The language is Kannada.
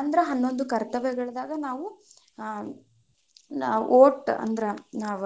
ಅಂದ್ರ ಹನ್ನೊಂದು ಕರ್ತವ್ಯಗಳದಾಗ ನಾವು vote ಅಂದ್ರ ನಾವ್